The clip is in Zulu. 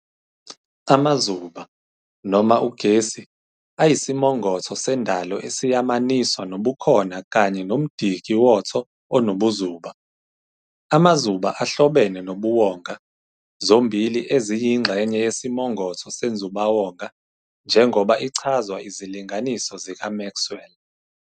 Amazuba, noma ugesi, ayisimongotho sendalo esiyamaniswa nobukhona kanye nomdiki woTho onobuzuba. Amazuba ahlobene nobuwonga, zombili eziyingxenye yesimongotho senzubawonga, njengoba ichazwa izilinganiso zikaMaxwell.